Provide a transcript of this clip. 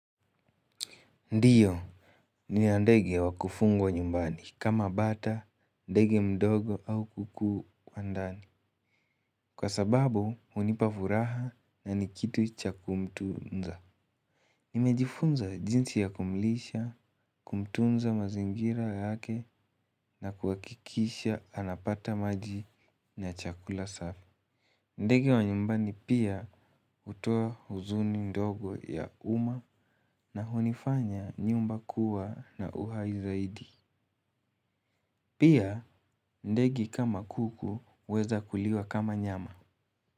Ndiyo, nina ndege wa kufungwa nyumbani kama bata, ndege mdogo au kuku wa ndani. Kwa sababu, hunipa furaha na ni kitu cha kumtunza. Nimejifunza jinsi ya kumlisha, kumtunza mazingira yake na kuhakikisha anapata maji na chakula safi. Ndege wa nyumbani pia hutoa huzuni ndogo ya umma na hunifanya nyumba kuwa na uhai zaidi. Pia ndege kama kuku huweza kuliwa kama nyama.